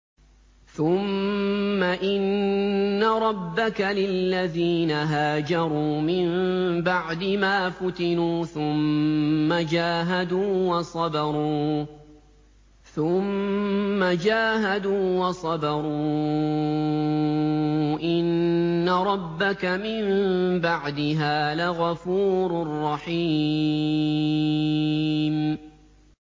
ثُمَّ إِنَّ رَبَّكَ لِلَّذِينَ هَاجَرُوا مِن بَعْدِ مَا فُتِنُوا ثُمَّ جَاهَدُوا وَصَبَرُوا إِنَّ رَبَّكَ مِن بَعْدِهَا لَغَفُورٌ رَّحِيمٌ